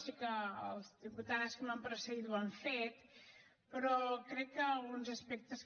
sé que les diputades que m’han precedit ho han fet però crec que alguns aspectes